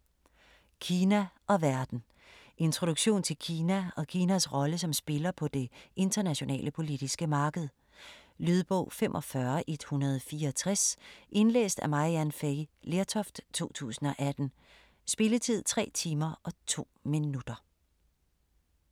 Kina og verden Introduktion til Kina og Kinas rolle som spiller på det internationale politiske marked. Lydbog 45164 Indlæst af Maryann Fay Lertoft, 2018. Spilletid: 3 timer, 2 minutter.